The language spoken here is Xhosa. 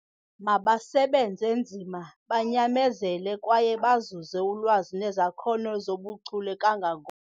Mabasebenze nzima, banyamezele kwaye bazuze ulwazi nezakhono zobuchule kanga.